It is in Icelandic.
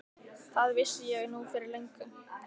Það vissi ég nú fyrir löngu.